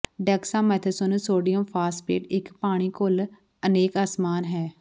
ਡੈਕਸਾਮੇਥਾਸੋਨੂੰ sodium phosphate ਇੱਕ ਪਾਣੀ ਘੁਲ ਅਨੇਕ ਅਸਮਾਨ ਹੈ